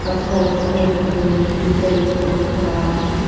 पत्थर वत्थर दिख रहे खिचड़ी जैसा दिख रहा है।